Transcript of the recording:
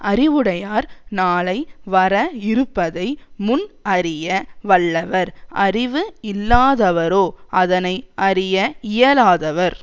அறிவுடையார் நாளை வர இருப்பதை முன் அறிய வல்லவர் அறிவு இல்லாதவரோ அதனை அறிய இயலாதவர்